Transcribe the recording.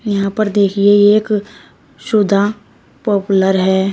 यहां पर देखिए एक सुधा पॉपुलर है।